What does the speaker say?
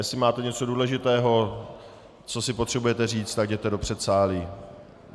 Jestli máte něco důležitého, co si potřebujete říct, tak jděte do předsálí.